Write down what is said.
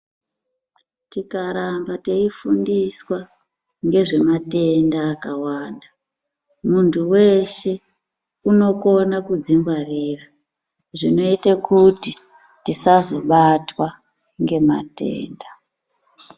Tikaramba teifundiswa ngezve matenda akawanda muntu weshe unokone kudzingwarira zvinoite kuti tisazobatwa ngematenda.